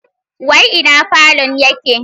Wai ina falon yake?